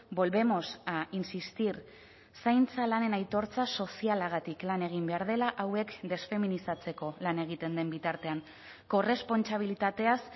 volvemos a insistir zaintza lanen aitortza sozialagatik lan egin behar dela hauek desfeminizatzeko lan egiten den bitartean korrespontsabilitateaz